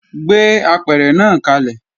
Gbé apẹ̀rẹ̀ náà kalẹ̀!